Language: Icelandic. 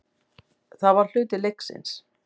Það var hluti leiksins.